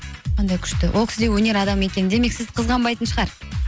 кандай күшті ол кісі де өнер адамы екен демек сізді қызғанбайтын шығар